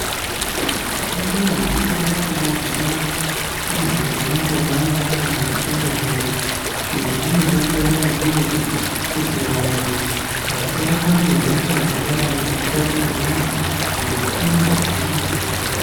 Utano hwekutanga tinohuona muntu ponapo paanotanga nekushambe nyara izvi zvinodetsera kakurutu kuti vantu vasabatwe ngehosha dzingadai dzeitapidzwana ngetsvina yemumaoko.